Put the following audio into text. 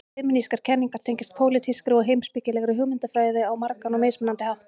Femínískar kenningar tengjast pólitískri og heimspekilegri hugmyndafræði á margan og mismunandi hátt.